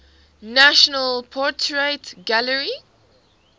national portrait gallery